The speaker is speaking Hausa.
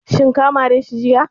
Shin ka mare shi jiya?